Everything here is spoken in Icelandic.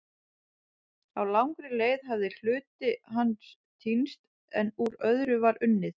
Á langri leið hafði hluti hans týnst en úr öðru var unnið.